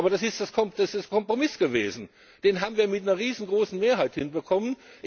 Aber das ist ein Kompromiss gewesen, den haben wir mit einer riesengroßen Mehrheit hinbekommen.